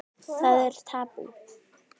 Það er tabú.